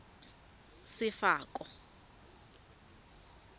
sefako